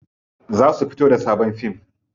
Za su fito da sabon fim.